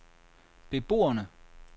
beboerne